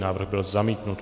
Návrh byl zamítnut.